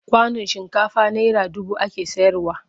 Kwanon shinkafa naira dubu ake sayarwa.